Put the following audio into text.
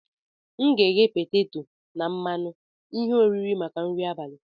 M ga-eghe peteto na mmanụ ihe oriri maka nri abalị.